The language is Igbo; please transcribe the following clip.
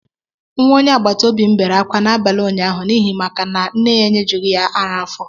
Nwa onye agbataobi m bere akwa n'abalị ụnyaahụ n'ihi maka na nne ya enyejughị ya ara afó